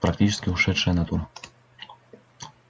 практически ушедшая натура